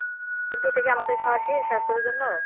কিন্তু ঐ টা কি আমাদের খাওয়া ঠিক স্বাস্থের জন্য।